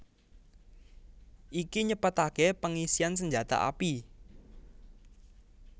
Iki nyepetaké pengisian senjata api